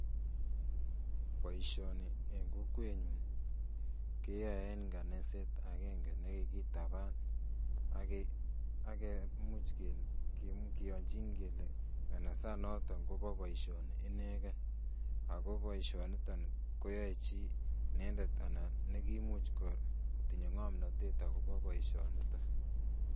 Boisioni eng kokwetnyun keyoe en nganaset agenge nekikitaban ak imuch kiyonjin kele nganasanoton kobo boisioni ineken ako boisioniton koyoe chii inendet anan nekimuch kotinye ngomnotet akobo boisioniton